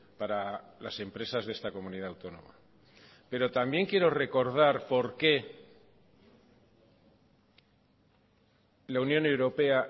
para las empresas de esta comunidad autónoma pero también quiero recordar por qué la unión europea